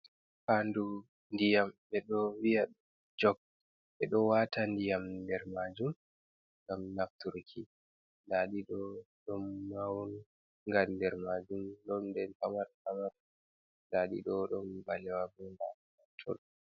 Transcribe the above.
Faandu ndiyam be do viya jog, ɓe ɗo wata ndiyam nder majum ngam nafturki nda ɗi ɗo dom mawun gan nder majum ɗon den pamara pamara nda ɗi ɗo ɗum balewa bo ma matol.